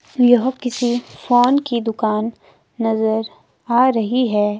यह किसी फोन की दुकान नजर आ रही है।